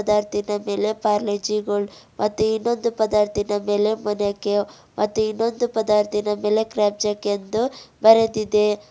ಪದಾರ್ಥೀನ ಮೇಲೆ ಪಾರ್ಲೆಜಿ ಗೋಲ್ಡ್ ಮತ್ತು ಇನ್ನೊಂದು ಪದಾರ್ಥೀನ ಮೇಲೆ ಮೊನಾಕೊ ಮತ್ತು ಇನ್ನೊಂದು ಪದಾರ್ಥೀನ ಮೇಲೆ ಕ್ರ್ಯಾಕ್ ಜಾಕ್ ಎಂದು ಬರೆದಿದೆ.